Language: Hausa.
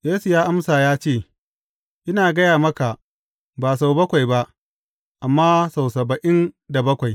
Yesu amsa ya ce, Ina gaya maka, ba sau bakwai ba, amma sau saba’in da bakwai.